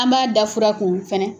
An m'a da fura kun fɛnɛ